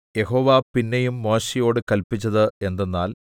യഹോവ പിന്നെയും മോശെയോട് കല്പിച്ചത് എന്തെന്നാൽ